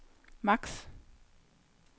maks